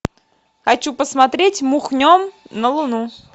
хочу посмотреть мухнем на луну